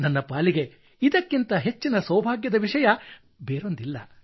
ನನ್ನ ಪಾಲಿಗೆ ಇದಕ್ಕಿಂತ ಹೆಚ್ಚಿನ ಸೌಭಾಗ್ಯದ ವಿಷಯ ಬೇರೊಂದಿಲ್ಲ